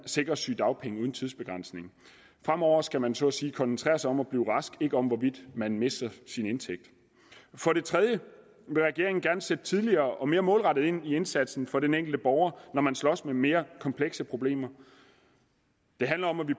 sikres sygedagpenge uden tidsbegrænsning fremover skal man så at sige koncentrere sig om at blive rask ikke om hvorvidt man mister sin indtægt for det tredje vil regeringen gerne sætte tidligere og mere målrettet ind i indsatsen for den enkelte borger når man slås med mere komplekse problemer det handler om at vi